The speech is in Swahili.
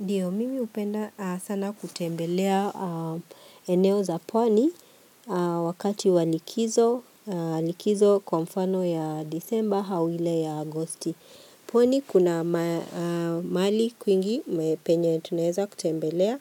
Ndio, mimi hupenda sana kutembelea eneo za pwani wakati wa likizo, likizo kwa mfano ya Desemba hau ile ya Agosti. Pwani kuna mahali kwingi penye tunaeza kutembelea